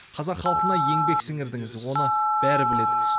қазақ халқына еңбек сіңірдіңіз оны бәрі біледі